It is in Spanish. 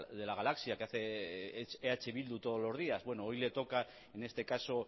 de la galaxia que hace eh bildu todos los días bueno hoy le toca en este caso